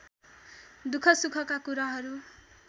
दुख सुखका कुराहरू